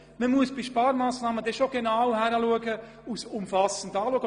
Man muss bei Sparmassnahmen genau hinschauen und sie umfassend anschauen.